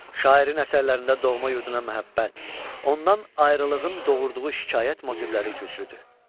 Şairin əsərlərində doğma yurduna məhəbbət, ondan ayrılığın doğurduğu şikayət motivləri güclüdür.